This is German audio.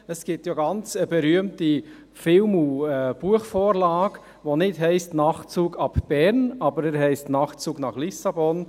Es gibt eine ganz berühmte Film- und Buchvorlage, die nicht «Nachtzug ab Bern» heisst, aber «Nachtzug nach Lissabon».